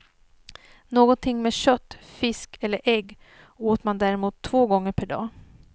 Någonting med kött, fisk eller ägg åt man däremot två gånger per dag.